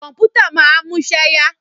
Kọ̀mpútà máa ń múṣẹ́ yá.